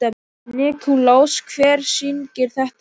Nikulás, hver syngur þetta lag?